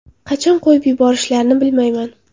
Qachon qo‘yib yuborishlarini bilmayman.